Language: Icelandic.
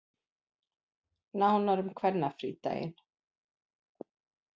Nánar um kvennafrídaginn